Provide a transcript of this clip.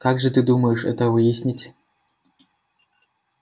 как же ты думаешь это выяснить